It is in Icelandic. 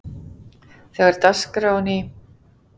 Þegar dagskráin í